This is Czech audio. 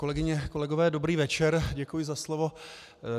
Kolegyně, kolegové, dobrý večer, děkuji za slovo.